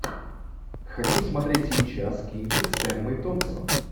хочу смотреть сейчас кинчик с эммой томпсон